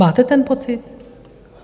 Máte ten pocit?